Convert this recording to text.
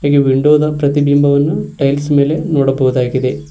ಈ ವಿಂಡೋ ದ ಪ್ರತಿಬಿಂಬವನ್ನು ಟೈಲ್ಸ್ ಮೇಲೆ ನೋಡಬಹುದಾಗಿದೆ.